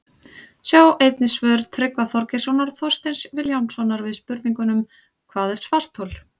Sjá einnig svör Tryggva Þorgeirssonar og Þorsteins Vilhjálmssonar við spurningunum Hvað er svarthol?